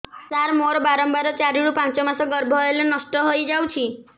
ସାର ମୋର ବାରମ୍ବାର ଚାରି ରୁ ପାଞ୍ଚ ମାସ ଗର୍ଭ ହେଲେ ନଷ୍ଟ ହଇଯାଉଛି